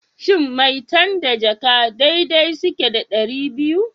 Shin maitan da jaka dai dai suke da ɗari biyu?